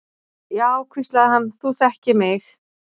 Já, hvíslaði hann, þú þekkir mig.